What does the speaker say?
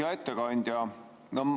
Hea ettekandja!